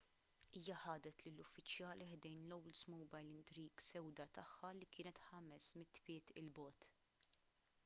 hija ħadet lill-uffiċjali ħdejn l-oldsmobile intrigue sewda tagħha li kienet 500 pied il bogħod